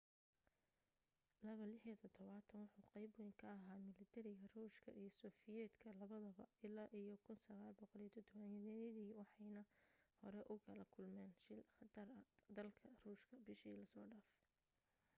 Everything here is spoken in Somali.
il-76 wuxu qayb wayn ka ahaa milatariga ruushka iyo sofiyeetka labadaba ilaa iyo 1970-yadii waxayna hore ugala kulmeen shil khatar dalka ruushka bishii la soo dhaafay